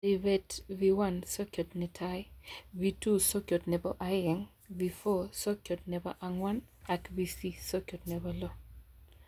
Ribetab V1- Sokyot-netai, V2-sokyot nebo aeng, V4- sokyot nebo angwan ak V6- sokyot nebo lo